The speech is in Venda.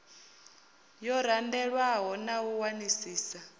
yo randelwaho na u wanisisa